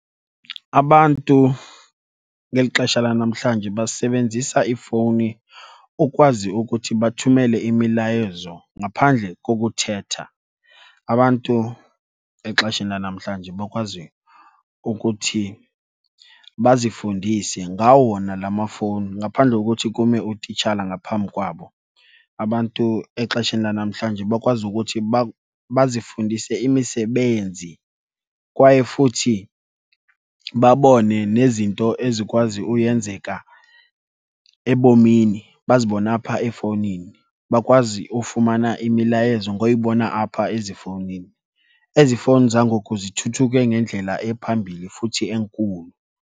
Abantu beli xesha lanamhlanje basebenzisa iifowuni ukwazi ukuthi bathumele imilayezo ngaphandle kokuthetha. Abantu exesheni lanamhlanje bakwazi ukuthi bazifundise ngawo wona la mafowuni ngaphandle kothi kume utitshala ngaphambi kwabo. Abantu exesheni lanamhlanje bakwazi ukuthi bazifundise imisebenzi kwaye futhi babone nezinto ezikwazi uyenzeka ebomini, bazibone apha efowunini. Bakwazi ufumana imilayezo ngoyibona apha ezifowunini. Ezi fowuni zangoku zithuthuke ngendlela ephambili futhi enkulu.